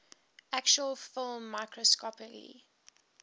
actual film microscopically